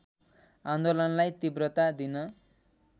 आन्दोलनलाई तीव्रता दिन